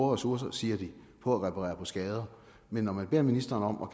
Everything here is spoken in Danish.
ressourcer siger de på at reparere skader men når man beder ministeren om at